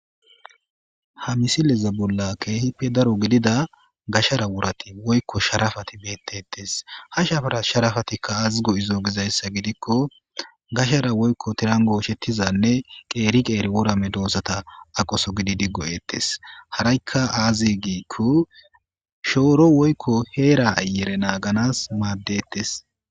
Ha misileza bulla keehippe daro gidida gashara wurati woykko sharafati beettetes ha shara sharafatikka azigo izo gizayssa gidikko gashara woykko tirango ushettizanne qeeri qeeri worame doossata aqoso gidi diggoyettes harakka aazigikko shooro woykko heera ayere naaganas maaddettes